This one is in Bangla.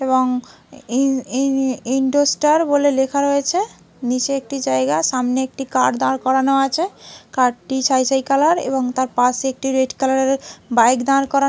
এবং ইন ইন ইন্ডোস্টার বলে লেখা রয়েছে। নিচে একটি জায়গা সামনে একটি কার দাঁড় করানো আছে। কার -টি ছাই ছাই কালার এবং তার পাশে একটি রেড কালারের বাইক দাঁড় করান--